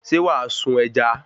Ṣé wàá sun ẹja?